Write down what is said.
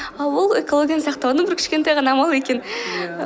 ал ол экологияны сақтаудын бір кішкентай ғана амалы екен иә